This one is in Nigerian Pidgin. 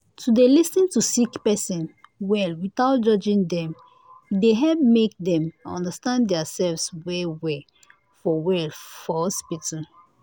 to dey lis ten to sick person well without judging dem e dey help make dem understand their selves well well for well for hospital